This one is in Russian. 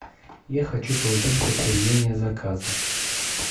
я хочу получить подтверждение заказа